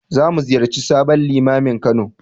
Za mu ziyarci sabon Limamin Kano.